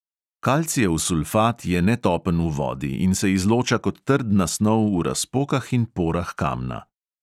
Kalcijev sulfat je netopen v vodi in se izloča kot trdna snov v razpokah in porah kamna.